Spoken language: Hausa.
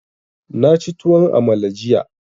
Na ci tuwon amala jiya.